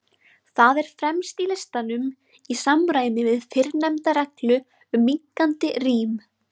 Það er fremst í listanum, í samræmi við fyrrnefnda reglu um minnkandi rím.